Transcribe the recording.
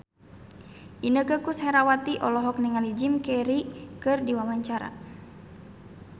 Inneke Koesherawati olohok ningali Jim Carey keur diwawancara